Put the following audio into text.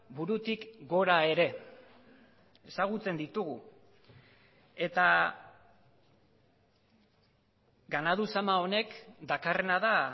burutik gora ere ezagutzen ditugu eta ganadu zama honek dakarrena da